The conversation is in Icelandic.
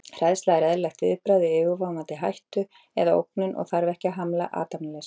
Hræðsla er eðlilegt viðbragð við yfirvofandi hættu eða ógnun og þarf ekki að hamla athafnafrelsi.